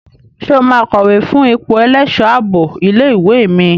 Ṣé o máa kọ̀wé fún ipò ẹlẹ́ṣọ̀ ààbò ilé ìwé mi?